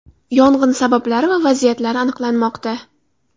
Yong‘in sabablari va vaziyatlari aniqlanmoqda.